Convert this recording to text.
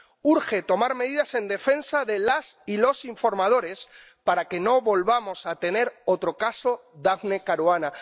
Urge tomar medidas en defensa de las y los informadores para que no volvamos a tener otro caso Daphne Caruana.